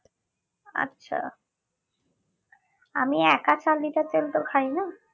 আচ্ছা আমি এক চার liter তেল তো খাইনা